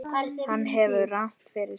Hann hefur rangt fyrir sér.